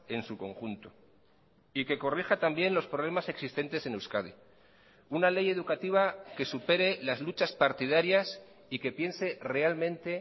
en su conjunto y que corrija también los problemas existentes en euskadi una ley educativa que supere las luchas partidarias y que piense realmente